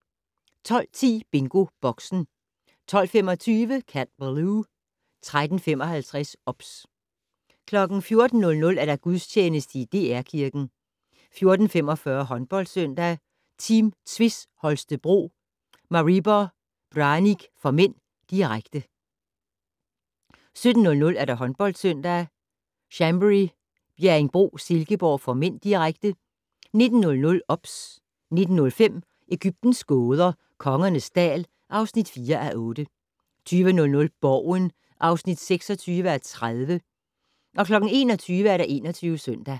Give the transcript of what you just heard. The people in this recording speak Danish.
12:10: BingoBoxen 12:25: Cat Ballou 13:55: OBS 14:00: Gudstjeneste i DR Kirken 14:45: HåndboldSøndag: Team Tvis Holstebro-Maribor Branik (m), direkte 17:00: HåndboldSøndag: Chambery - Bjerringbro-Silkeborg (m), direkte 19:00: OBS 19:05: Egyptens gåder - Kongernes dal (4:8) 20:00: Borgen (26:30) 21:00: 21 Søndag